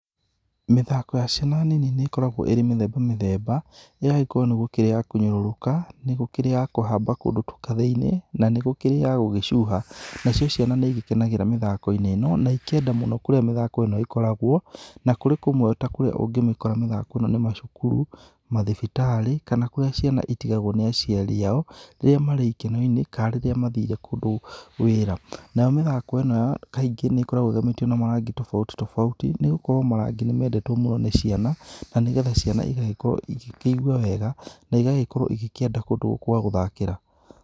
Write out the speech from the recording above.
Mĩthako ya ciana nini nĩ ikoragwo ĩrĩ mĩthemba mĩthemba, ĩgakorwo nĩ kũrĩ ya kũnyũrũrũka, nĩ gũkũrĩ ya kũhamba kũndũ kathĩ-inĩ na nĩgũkĩrĩ ya gũgĩcuha. Nacio ciana nĩigĩkenagĩra mĩthako-inĩ ĩno, na ikenda mũno kũrĩa mĩthako ĩno ĩkoragwo, na kũrĩ kũmwe kũrĩa ũngĩmĩkora mĩthako ĩno nĩ macukuru, mathibitarĩ kana kũrĩa ciana itigagwo nĩ aciari ao, rĩrĩa marĩ ikeno-inĩ kana rĩrĩa mathire kũndũ wĩra, nayo mĩthako ĩno kaingĩ nĩ ĩkoragwo ĩgemetio na marangi tofauti tofauti, nĩ gũkorwo marangi nĩ mendetwo mũno nĩ ciana, na nĩgetha ciana igagĩkorwo igĩkĩigua wega, na igagĩkorwo igĩkĩenda kũndũ gwa gũthakĩra.